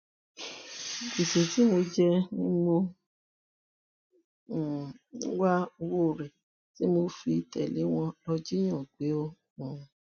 gbèsè tí mo jẹ ni mò um ń wá owó rẹ tí mo fi tẹlé wọn lọọ jiyàn gbé um